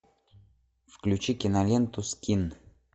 включи киноленту скин